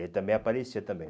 Ele também aparecia também.